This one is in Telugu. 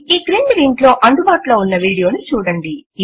ఈ క్రింది లింక్ లో అందుబాటులో ఉన్న వీడియో ను చూడండి